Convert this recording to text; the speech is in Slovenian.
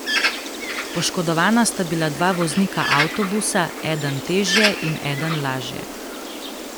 Poškodovana sta bila dva voznika avtobusa, eden težje in eden lažje.